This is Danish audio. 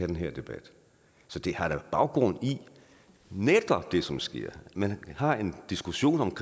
den her debat så det har da baggrund i det som sker man har en diskussion om